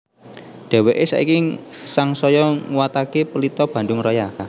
Dheweke saiki sangsaya nguwatake Pelita Bandung Raya